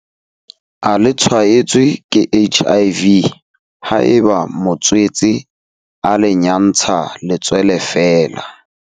A le tshwaetswe ke HIV haeba motswetse a le nyantsha letswele feela.